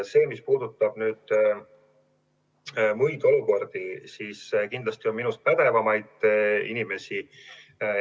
Selles, mis puudutab muid olukordi, on kindlasti minust pädevamaid inimesi.